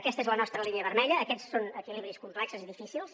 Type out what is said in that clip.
aquesta és la nostra línia vermella aquests són equilibris complexos i difícils